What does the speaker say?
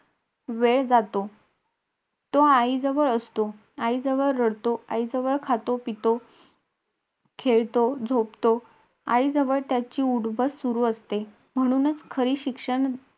त्याच्यानंतर आम्ही school मध्ये बसलो.आम्ही school मध्ये बसण्या बसल्यावर तेव्हा तेव्हा साडे नऊ वाजलेले म्हणजे नऊ वाजून तीस मिनटं झालेले.